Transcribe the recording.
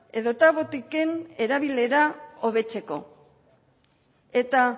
edota botiken erabilera hobetzeko eta